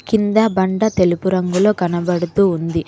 కింద బండ తెలుపు రంగులో కనబడుతూ ఉంది.